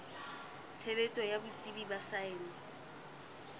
tshebetso ya botsebi ba saense